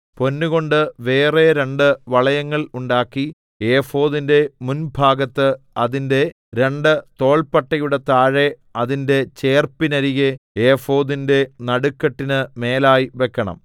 പൊന്നുകൊണ്ട് വേറെ രണ്ട് വളയങ്ങൾ ഉണ്ടാക്കി ഏഫോദിന്റെ മുൻഭാഗത്ത് അതിന്റെ രണ്ട് തോൾപ്പട്ടയുടെ താഴെ അതിന്റെ ചേർപ്പിനരികെ ഏഫോദിന്റെ നടുക്കെട്ടിന് മേലായി വെക്കണം